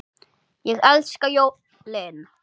Ég elska jólin!